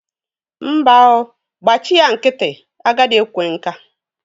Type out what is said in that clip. Mba o, gbachị ya nkịtị. Agadị ekwe nka.